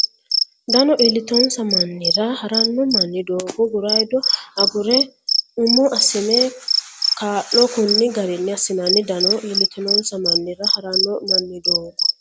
Dano iillitinonsa mannira ha ranno manni doogo guraydo agure umo assine kaa lo konni garinni assinanni Dano iillitinonsa mannira ha ranno manni doogo.